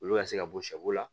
Olu ka se ka bɔ sɛ bo la